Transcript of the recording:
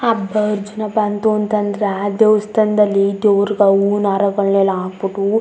ಹಬ್ಬ ಅರ್ಜುನ್ ಬಂತು ಅಂತ ಅಂದ್ರ ದೇವಸ್ಥಾನದಲ್ಲಿ ದೇವ್ರುಗ ಹೂವಿನ ಹಾರಗಳನೆಲ್ಲಾ ಹಾಕ್ ಬಿಟ್ಟು --